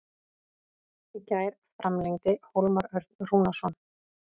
Í gær framlengdi Hólmar Örn Rúnarsson.